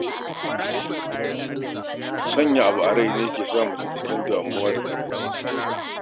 Sanya abu a rai ne yake sa mutum cikin damu da tunani.